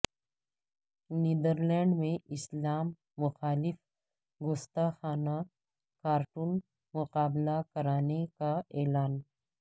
Netherland میں اسلام مخالف گستاخانہ کارٹون مقابلہ کرانے کا اعلان